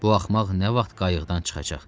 Bu axmaq nə vaxt qayıqdan çıxacaq?